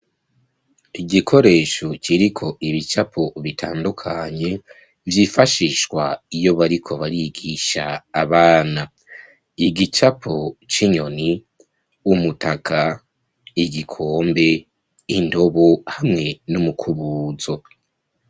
Igikoresho, kiriko ibicapo bitandukanye, vyifashishwa iyo bariko barigisha abana; igicapo c'inyoni, umutaka, igikombe, indobo, hamwe n'umukubuzo.